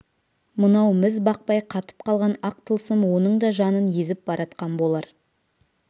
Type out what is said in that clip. мынау міз бақпай қатып қалған ақ тылсым оның да жанын езіп баратқан болар